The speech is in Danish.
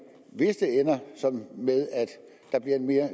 ender med at der bliver en mere